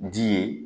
Ji ye